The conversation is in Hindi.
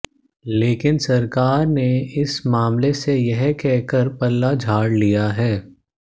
लेकिन सरकार ने इस मामले से यह कहकर पल्ला झाड़ लिया है